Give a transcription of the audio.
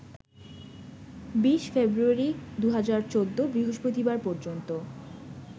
২০ February ২০১৪ বৃহস্পতিবার পর্যন্ত